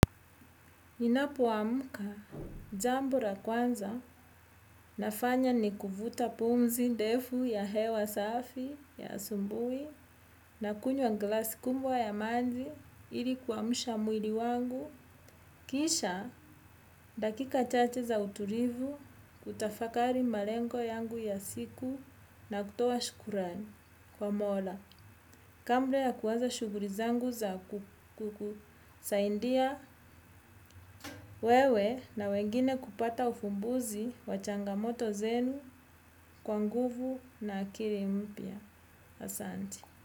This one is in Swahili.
Ninapoamka, jambo ra kwanza nafanya ni kuvuta pumzi ndefu ya hewa safi ya asubuhi nakunywa glasi kubwa ya maji ili kuamusha mwili wangu. Kisha, dakika chache za uturivu, kutafakari malengo yangu ya siku na kutoa shukrani. Kwa mola, kabla ya kuaza shughuri zangu za ku kukusaindia wewe na wengine kupata ufumbuzi wa changamoto zenu kwa nguvu na akili mpya. Asante.